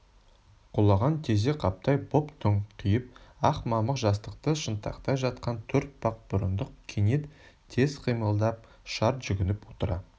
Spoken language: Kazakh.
құлаған тезек қаптай боп дөңкиіп ақ мамық жастықты шынтақтай жатқан төртбақ бұрындық кенет тез қимылдап шарт жүгініп отыра